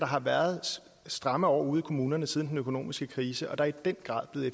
har været stramme år ude i kommunerne siden den økonomiske krise og at der i den grad er